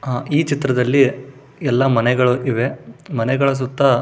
ಅಹ್ ಈ ಚಿತ್ರದಲ್ಲಿ ಎಲ್ಲ ಮನೆಗಳು ಇವೆ ಮನೆಗಳ ಸುತ್ತ --